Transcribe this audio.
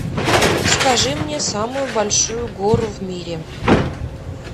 скажи мне самую большую гору в мире